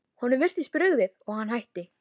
Honum virtist brugðið og hann hætti.